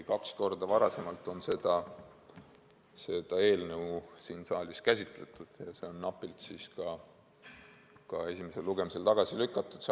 Kaks korda on seda eelnõu siin saalis juba käsitletud ja see on esimesel lugemisel napilt tagasi lükatud.